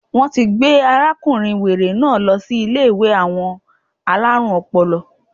Wọ́n ti gbé arákùnrin wèrè náà lọ sí Ilé àwọn alárùn ọpọlọ